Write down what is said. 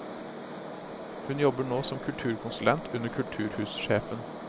Hun jobber nå som kulturkonsulent under kulturhussjefen.